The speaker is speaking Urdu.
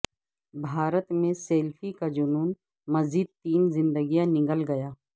بھارت میں سیلفی کا جنون مزید تین زندگیاں نگل گیا